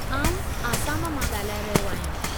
आउं आसाम मां ॻाल्हाए रहियो आहियां।